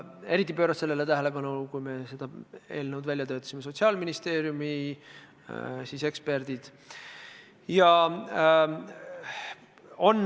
Eriti pöörasid sellele tähelepanu, kui me seda eelnõu välja töötasime, Sotsiaalministeeriumi eksperdid.